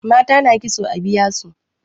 mata na kitso a biya su